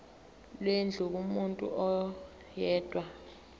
lwendlu kumuntu oyedwa